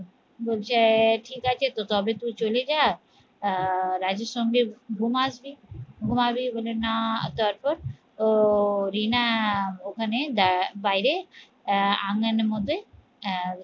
বলছে ঠিক আছে তো তবে তুই চলে যা আহ রাজুর সঙ্গে ঘুম আসবি ঘুমাবি বলে না তারপর ও রিনা ওখানে আহ বাইরে আগান মধ্যে আহ